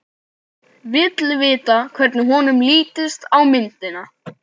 Vill vita hvernig honum lítist á myndina.